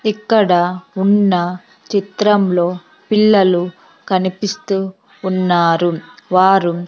ఇక్కడ ఉన్న చిత్రంలో పిల్లలు కనిపిస్తూ ఉన్నారు. వారు --